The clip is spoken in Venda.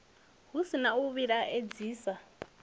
hu si na u vhilaedzisa